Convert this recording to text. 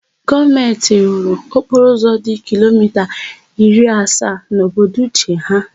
Gọọmentị rụrụ okporoụzọ dị kilomita iri asaa n'obodo Uche ha.